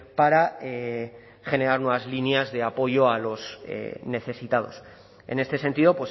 para generar nuevas líneas de apoyo a los necesitados en este sentido